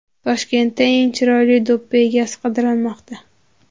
Toshkentda eng chiroyli do‘ppi egasi qidirilmoqda.